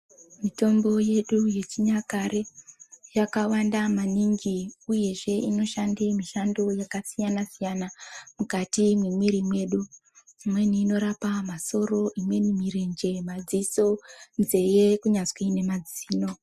Mitombo yedu yechinyakare yakawanda maningi uyezveinoshanda mishando yakasiyana-siyana mukati memwiri medu pamweni inorapa masoro imweni mirenje madziso nzeve kunyazi nemazino.